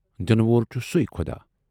دِنہٕ وول چھُ سُے خُدا۔